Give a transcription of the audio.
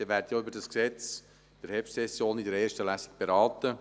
Sie werden das entsprechende Gesetz in der Herbstsession in erster Lesung beraten.